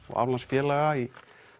og aflandsfélaga í